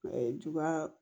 Ɛɛ juguya